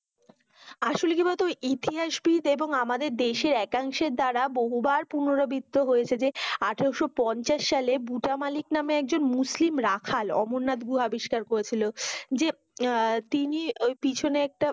আসলে কি বলতো ইতিহাসবিদ এবং আমাদের দেশে একাংশের দ্বারা বহুবার পুনারবৃত্ত হয়েছে যে আঠারো পঞ্চাশ সাল বুচামালিক নামে একজন মুসলিম রাখাল অমরনাথ গুহা আবিষ্কার করেছিল। যে তিনি ঐ পিছনে একটা